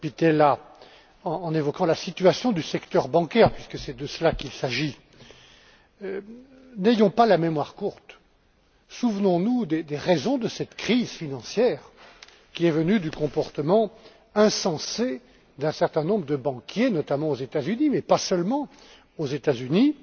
Pittella en évoquant la situation du secteur bancaire, puisque c'est de cela qu'il s'agit. N'ayons pas la mémoire courte. Souvenons nous des raisons de cette crise financière, qui est venue du comportement insensé d'un certain nombre de banquiers, notamment aux États Unis, mais pas seulement aux Etats Unis